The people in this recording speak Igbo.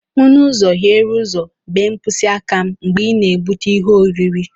M n'ụzọ hiere ụzọ bee mkpịsị aka m mgbe ị na-egbutu ihe oriri.